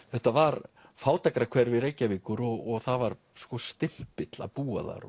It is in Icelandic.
þetta var fátækrahverfi Reykjavíkur og það var stimpill að búa þar